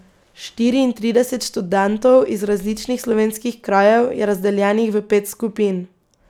Štiriintrideset študentov iz različnih slovenskih krajev je razdeljenih v pet skupin.